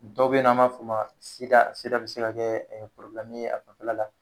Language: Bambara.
Dɔ be ye nɔ an b'a f'o ma sida sida be se ka kɛ porobumu ye a nɔfɛla la